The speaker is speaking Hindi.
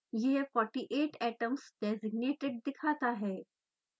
यह 48 atoms designated दिखाता है